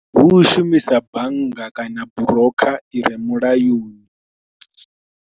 Hu u shumisa bannga kana brooker i re mulayoni.